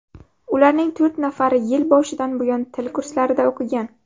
Ularning to‘rt nafari yil boshidan buyon til kurslarida o‘qigan.